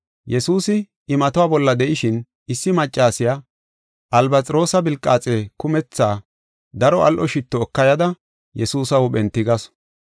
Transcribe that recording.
Yesuusi imatuwa bolla de7ishin issi maccasiya albasxiroosa philqaaxe kumetha daro al7o shitto eka yada Yesuusa huuphen tigasu.